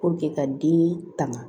ka den tanga